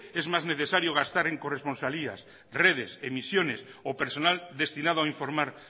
es más necesario gastar en corresponsalías redes emisiones o personal destinado a informar